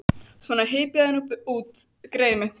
Svona, hypjaðu þig nú út, greyið mitt.